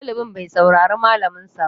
Ɗalibin bai saurari malamin sa ba